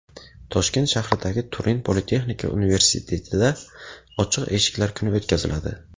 Toshkent shahridagi Turin Politexnika universitetida ochiq eshiklar kuni o‘tkaziladi.